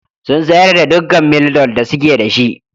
Sun sayar da dukkan Mildol da suke da shi.